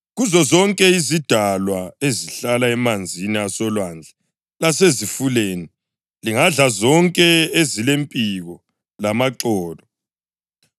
Kuzozonke izidalwa ezihlala emanzini asolwandle lasezifuleni, lingadla zonke ezilempiko lamaxolo.